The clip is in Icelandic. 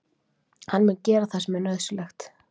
Hann mun gera það sem er nauðsynlegt.